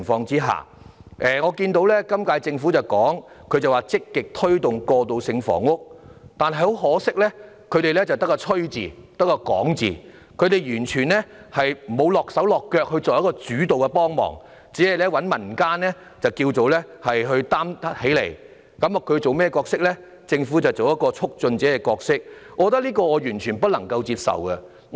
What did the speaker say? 我看到本屆政府指出要積極推動過渡性房屋，但很可惜只會"吹"、只會"講"，完全沒有親力親為作主導性的幫忙，只找民間團體挑起擔子，而政府則只擔當促進者的角色，我認為這是完全不能接受的。